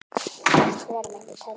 Margt fleira mætti telja.